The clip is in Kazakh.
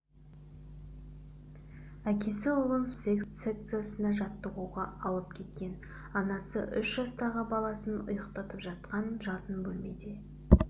әкесі ұлын спорт секциясына жаттығуға алып кеткен анасы үш жастағы баласын ұйықтатып жатқан жатын бөлмеде